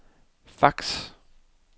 fax